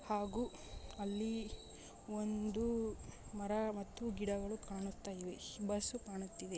ಹಾಗೂ ಅಲ್ಲಿ ಒಂದು ಮರ ಮತ್ತು ಗಿಡಗಳು ಕಾಣುತ್ತಿವೆ ಬಸ್ಸು ಕಾಣುತ್ತಿದೆ.